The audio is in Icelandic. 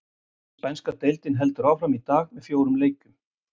Spænska deildin heldur áfram í dag með fjórum leikjum.